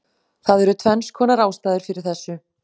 Það eru tvennskonar ástæður fyrir þessu: